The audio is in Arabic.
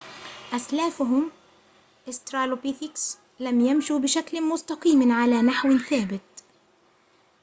أسلافهم أسترالوبيثكس لم يمشوا بشكل مستقيم على نحوٍ ثابتٍ